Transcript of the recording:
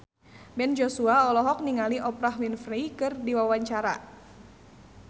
Ben Joshua olohok ningali Oprah Winfrey keur diwawancara